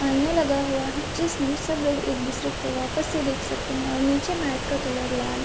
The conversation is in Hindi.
आईना लगा हुआ है जिसमे सब लोग एक-दूसरे को वापस से देख सकते हैं और नीचे मैंट का कलर लाल --